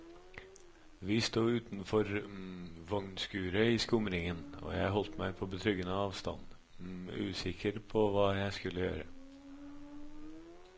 Vi stod utenfor vognskuret i skumringen, og jeg holdt meg på betryggende avstand, usikker på hva jeg skulle gjøre.